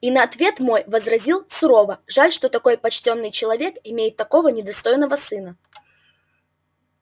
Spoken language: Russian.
и на ответ мой возразил сурово жаль что такой почтенный человек имеет такого недостойного сына